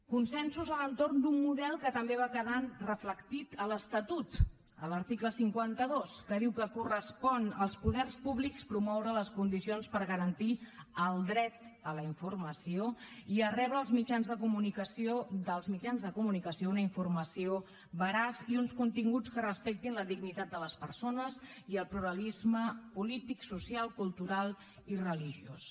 consensos a l’entorn d’un model que també va quedar reflectit a l’estatut a l’article cinquanta dos que diu que correspon als poders públics promoure les condicions per garantir el dret a la informació i a rebre dels mitjans de comunicació una informació veraç i uns continguts que respectin la dignitat de les persones i el pluralisme polític social cultural i religiós